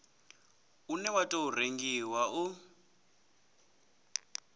une wa tou rengiwa u